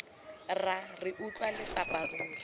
rra re utlwa letsapa ruri